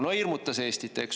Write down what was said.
No hirmutas Eestit, eks.